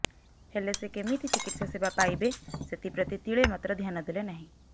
ହେଲେ ସେ କେମିତି ଚିକିତ୍ସା ସେବା ପାଇବେ ସେଥିପ୍ରତି ତିଳେ ମାତ୍ର ଧ୍ୟାନ ଦେଲେ ନାହିଁ